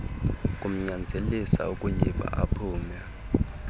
kumnyanzelisa ukuyba aphume